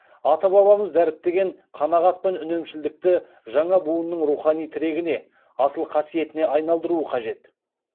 ата бабамыз дәріптеген қанағат пен үнемшілдікті жаңа буынның рухани тірегіне асыл қасиетіне айналдыру қажет